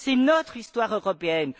C'est notre histoire européenne